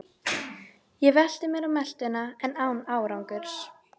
Ég velti mér á meltuna en án árangurs.